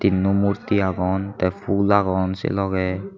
tinno murti agon the phool agon se loge.